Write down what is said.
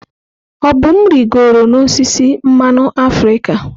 Obum rịgoro n'osisi mmanụ africa.